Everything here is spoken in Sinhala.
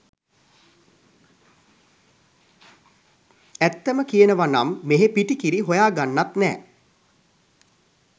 ඇත්තම කියනවනම් මෙහෙ පිටි කිරි හොයා ගන්නත් නෑ .